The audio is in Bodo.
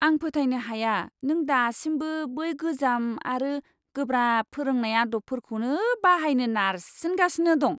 आं फोथायनो हाया नों दासिमबो बै गोजाम आरो गोब्राब फोरोंनाय आदबफोरखौनो बाहायनो नारसिनगासिनो दं!